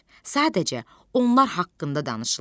Sadəcə, onlar haqqında danışılır.